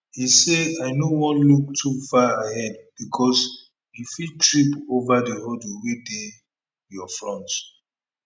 e say i no wan look too far ahead bicos you fit trip ova di hurdle wey dey your front